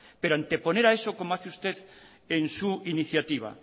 pero anteponer a eso como hace usted en su iniciativa